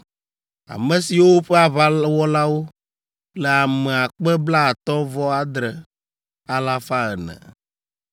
ame siwo ƒe aʋawɔlawo le ame akpe blaatɔ̃-vɔ-adre, alafa ene (57,400).